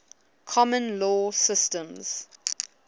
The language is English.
common law systems